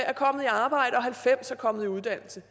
er kommet i arbejde og halvfems er kommet i uddannelse